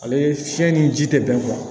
Ale fiɲɛ ni ji tɛ bɛn